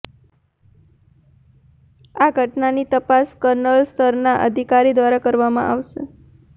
આ ઘટનાની તપાસ કર્નલ સ્તરના અધિકારી દ્વારા કરવામાં આવશે